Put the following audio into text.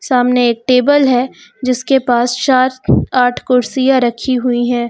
सामने एक टेबल है जिसके पास चार आठ कुर्सियां रखी हुई हैं।